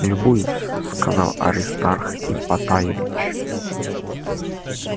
любуюсь сказал аристарх ипатаевич